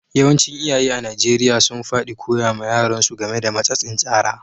Yawancin iyaye a'Nijeriya sun fadi koya ma yaran su game da matsatsin tsara.